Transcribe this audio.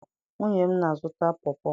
Nwunye m na-azụta pọọ pọọ.